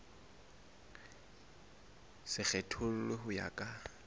se kgethollwe ho ya ka